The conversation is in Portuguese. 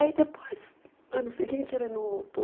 Aí depois, ano seguinte, ele não voltou.